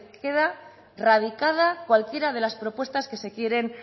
queda radicada cualquiera de las propuestas que se quieren